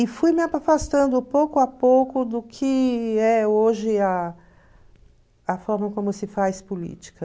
E fui afastando, pouco a pouco, do que é hoje a a forma como se faz política.